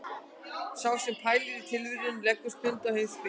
Sá sem pælir í tilverunni leggur stund á heimspeki.